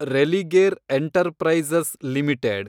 Religare enterprises limited